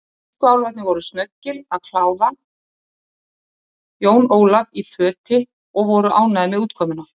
Tískuálfarnir voru snöggir að kláða Jón Ólaf í föti og voru ánægðir með útkomuna.